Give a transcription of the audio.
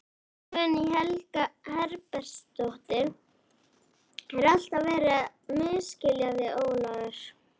Guðný Helga Herbertsdóttir: Er alltaf verið að misskilja þig Ólafur?